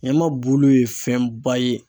Ɲama bulu ye fɛnba ye.